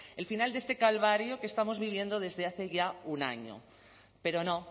el final de este calvario que estamos viviendo desde hace ya un año pero no